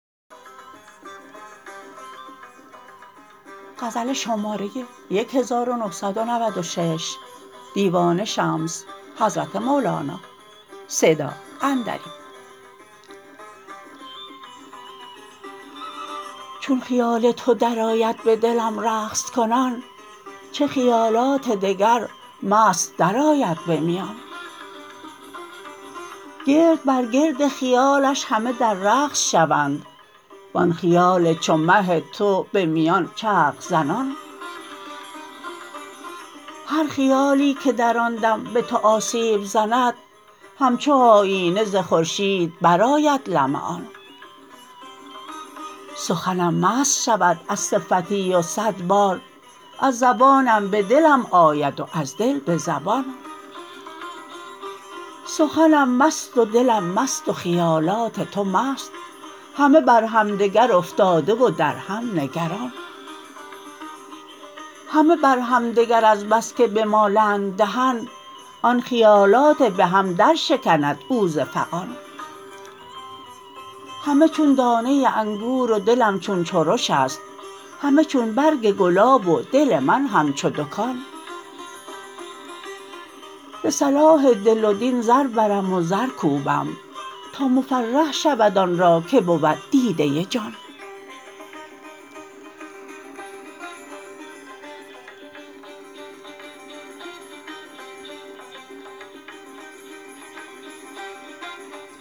چون خیال تو درآید به دلم رقص کنان چه خیالات دگر مست درآید به میان گرد بر گرد خیالش همه در رقص شوند وان خیال چو مه تو به میان چرخ زنان هر خیالی که در آن دم به تو آسیب زند همچو آیینه ز خورشید برآید لمعان سخنم مست شود از صفتی و صد بار از زبانم به دلم آید و از دل به زبان سخنم مست و دلم مست و خیالات تو مست همه بر همدگر افتاده و در هم نگران همه بر همدگر از بس که بمالند دهن آن خیالات به هم درشکند او ز فغان همه چون دانه انگور و دلم چون چرش است همه چون برگ گلاب و دل من همچو دکان ز صلاح دل و دین زر برم و زر کوبم تا مفرح شود آن را که بود دیده جان